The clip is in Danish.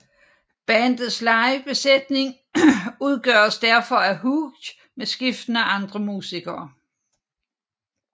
Bandets live besætning udgøres derfor af Hughes med skiftende andre musikere